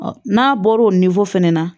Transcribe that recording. Ɔ n'a bɔra o fana na